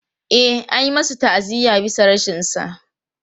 E, an yi masa ta'aziyya bisa rashinsa.